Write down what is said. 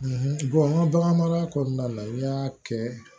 n ka bagan mara kɔnɔna la i y'a kɛ